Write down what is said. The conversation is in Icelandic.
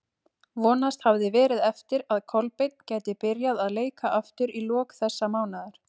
Vonast hafði verið eftir að Kolbeinn gæti byrjað að leika aftur í lok þessa mánaðar.